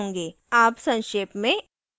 अब संक्षेप में